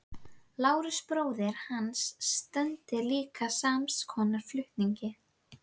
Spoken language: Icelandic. Lárus bróðir hans stundaði líka sams konar flutninga.